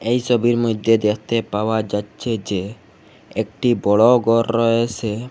এই ছবির মইধ্যে দেখতে পাওয়া যাচ্ছে যে একটি বড় গর রয়েসে।